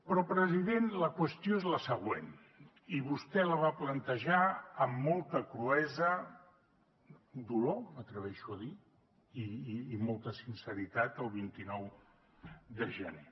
però president la qüestió és la següent i vostè la va plantejar amb molta cruesa dolor m’atreveixo a dir i molta sinceritat el vint nou de gener